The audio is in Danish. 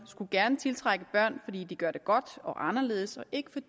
skulle gerne tiltrække børn fordi de gør det godt og anderledes og ikke